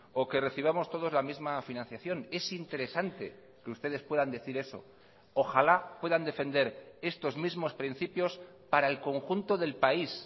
o que recibamos todos la misma financiación es interesante que ustedes puedan decir eso ojalá puedan defender estos mismos principios para el conjunto del país